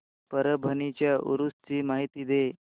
परभणी च्या उरूस ची माहिती दे